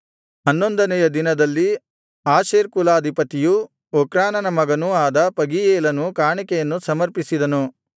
ಹನ್ನೊಂದನೆಯ ದಿನದಲ್ಲಿ ಆಶೇರ್ ಕುಲಾಧಿಪತಿಯೂ ಒಕ್ರಾನನ ಮಗನೂ ಆದ ಪಗೀಯೇಲನು ಕಾಣಿಕೆಯನ್ನು ಸಮರ್ಪಿಸಿದನು